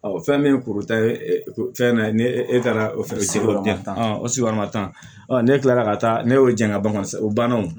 fɛn min ye kuru ta ye fɛn na ni e taara o fɛn sigiyɔrɔ tan o sigiyɔrɔma tan ne kilala ka taa ne y'o jɛngɛ san o banna o